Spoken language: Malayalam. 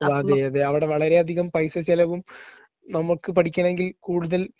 അതെ അതെ അവിടെ വളരെയധികം പൈസ ചെലവും നമ്മക്ക് പഠിക്കണമെങ്കിൽ കൂടുതൽ